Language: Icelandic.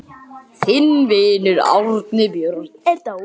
Þinn vinur, Árni Björn.